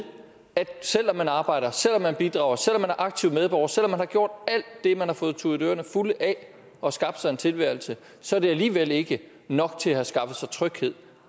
at selv om man arbejder selv om man bidrager selv om man er aktiv medborger selv om man har gjort alt det man har fået tudet ørerne fulde af og skabt sig en tilværelse så er det alligevel ikke nok til at have skaffet sig tryghed